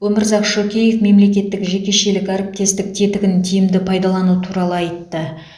өмірзақ шөкеев мемлекеттік жекешелік әріптестік тетігін тиімді пайдалану туралы айтты